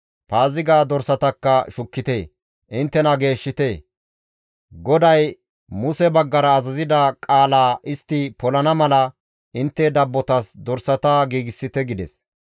Paaziga dorsatakka shukkite; inttena geeshshite; GODAY Muse baggara azazida qaalaa istti polana mala intte dabbotas dorsata giigsite» gides.